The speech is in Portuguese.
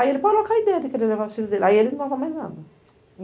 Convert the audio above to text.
Aí ele parou a com a ideia, de querer levar as filhas dele, aí ele não mais nada.